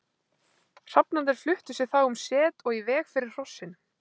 Hrafnarnir fluttu sig þá um set og í veg fyrir hrossin.